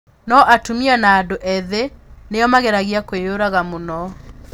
No atumia na andũ ethĩ nĩo mageragia kwĩyũraga mũno.